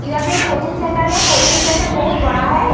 इधर पर एक कोचिंग सेण्टर है। कोचिंग सेण्टर बहोत बड़ा है।